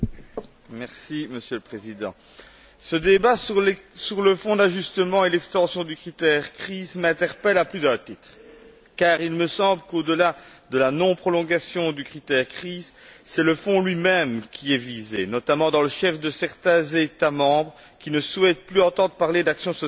Monsieur le Président, ce débat sur le Fonds d'ajustement et l'extension du critère crise m'interpelle à plus d'un titre, car il me semble qu'au delà de la non prolongation du critère crise, c'est le fonds lui même qui est visé, notamment dans le chef de certains États membres qui ne souhaitent plus entendre parler d'action sociale de l'Union.